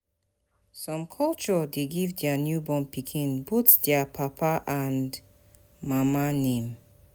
Some culture de give their newborn pikin both their papa and mama name